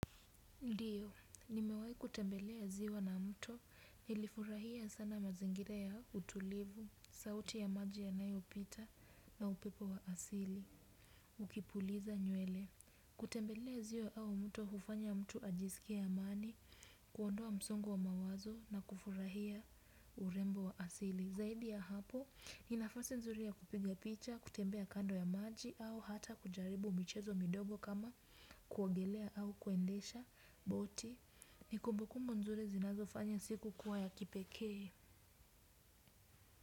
Ndiyo, nimewahi kutembelea ziwa na mtu, nilifurahia sana mazingira ya utulivu, sauti ya maji yanayopita na upepo wa asili. Ukipuliza nywele, kutembelea ziwa au mtu hufanya mtu ajisikie amani, kuondoa msongo wa mawazo na kufurahia urembo wa asili. Zaidi ya hapo, ni nafasi nzuri ya kupiga picha, kutembea kando ya maji au hata kujaribu michezo midogo kama kuaogelea au kuendesha, boti ni kumbukumbu nzuri zinazofanya siku kuwa ya kipekee.